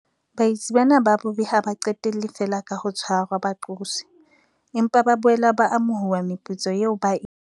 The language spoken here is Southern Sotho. Baetsi bana ba bobe ha ba qetelle feela ka ho tshwarwa ba qoswe, empa ba boela ba amohuwa meputso eo ba e